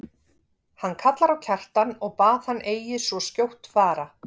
Hann kallar á Kjartan og bað hann eigi svo skjótt fara.